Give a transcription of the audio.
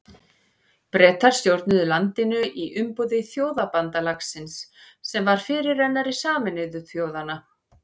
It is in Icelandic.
Bretar stjórnuðu landinu í umboði Þjóðabandalagsins sem var fyrirrennari Sameinuðu þjóðanna.